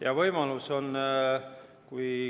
Jaa, võimalus on.